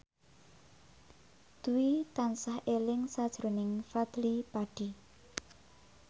Dwi tansah eling sakjroning Fadly Padi